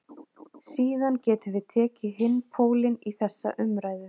Síðan getum við tekið hinn pólinn í þessa umræðu.